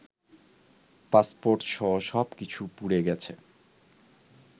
পাসপোর্টসহ সব কিছু পুড়ে গেছে